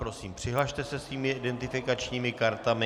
Prosím přihlaste se svými identifikačními kartami.